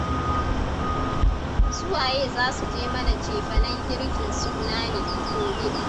Su waye za su je mana cefanen girkin suna ne, gobe?